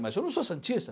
Mas eu não sou santista.